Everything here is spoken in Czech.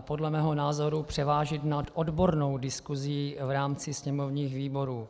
podle mého názoru převážit nad odbornou diskusí v rámci sněmovních výborů.